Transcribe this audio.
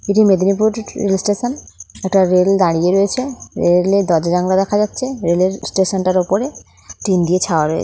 এটি Medinipur rail station এটা rail দাঁড়িয়ে রয়েছে রেল -এর দরজা জানলা দেখা যাচ্ছে রেল -এর স্টেশন তার উপরে টিন দিয়ে ছাওয়া--